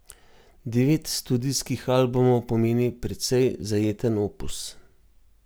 Devet studijskih albumov pomeni precej zajeten opus.